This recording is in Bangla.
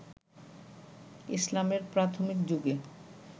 ইসলামের প্রাথমিক যুগে